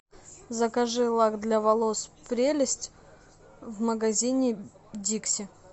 закажи лак для волос прелесть в магазине дикси